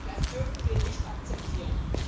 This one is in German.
Das dürfen wir nicht akzeptieren!